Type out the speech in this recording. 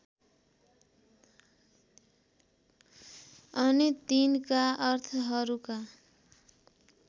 अनि तिनका अर्थहरूका